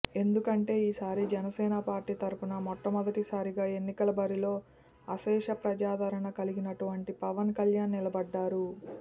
ఎందుకంటే ఈసారి జనసేన పార్టీ తరపున మొట్టమొదటి సరిగా ఎన్నికల బరిలో అశేష ప్రజాధారణ కలిగినటువంటి పవన్ కళ్యాణ్ నిలబడ్డారు